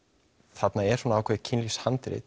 þarna er svona ákveðið